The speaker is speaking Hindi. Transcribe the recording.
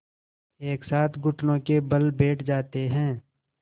एक साथ घुटनों के बल बैठ जाते हैं